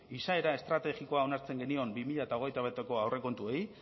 izaera estrategikoa onartzen genion bi mila hogeita bateko aurrekontuei